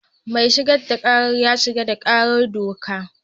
Mai gabatar da kara ya shigar da karar doka.